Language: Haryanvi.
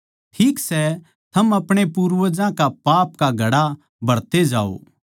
ठीक सै थम अपणे पूर्वजां कै पाप का घड़ा भरते जाओ